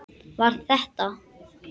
Var þetta.